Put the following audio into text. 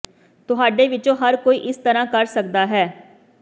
ਤੁਹਾਡੇ ਵਿੱਚੋਂ ਹਰ ਕੋਈ ਇਸ ਤਰ੍ਹਾਂ ਕਰ ਸਕਦਾ ਹੈ